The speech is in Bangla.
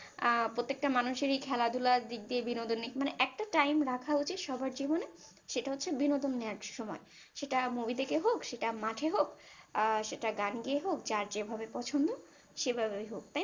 প্রত্যেকটার মানুষের ই খেলা দুলার দিক যে বিনোদনিক দিক মানে একটা time রাখা উচিত সব্বার জীবনে সেটা হচ্ছে বিনোদন নেয়ার সময়ে সেটা movie দেখে হোক সেটা মাঠে হোক আহ সেটা গান গেয়েই হোক বা যার যেটা পছন্দ সেই ভাবেই হোক